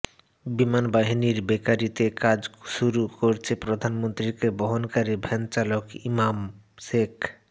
বিমান বাহিনীর বেকারিতে কাজ শুরু করেছে প্রধানমন্ত্রীকে বহনকারী ভ্যানচালক ইমাম শেখ